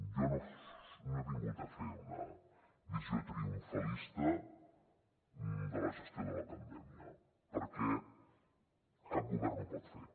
jo no he vingut a fer una visió triomfalista de la gestió de la pandèmia perquè cap govern ho pot fer